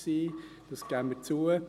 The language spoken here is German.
Dies geben wir zu.